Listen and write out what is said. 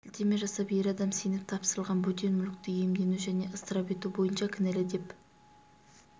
сілтеме жасап ер адам сеніп тапсырылған бөтен мүлікті иемдену және ысырап ету бойынша кінәлі деп